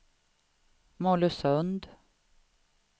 Mollösund